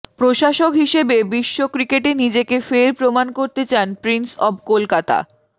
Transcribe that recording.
প্রশাসক হিসাবে বিশ্ব ক্রিকেটে নিজেকে ফের প্রমান করতে চান প্রিন্স অব কলকাতা